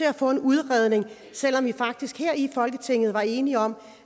at få en udredning selv om vi faktisk her i folketinget var enige om